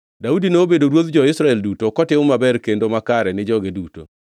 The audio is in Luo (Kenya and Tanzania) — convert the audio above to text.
Daudi nobedo ruodh jo-Israel duto, kotimo maber kendo makare ni joge duto.